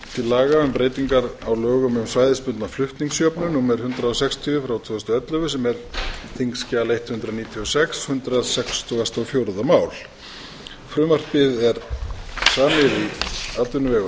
laga um breytingar á lögum um svæðisbundna flutningsjöfnun númer hundrað sextíu tvö þúsund og ellefu sem er þingskjal hundrað níutíu og sex hundrað sextugasta og fjórða máli frumvarpið er samið í atvinnuvega og